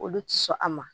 Olu ti sɔn a ma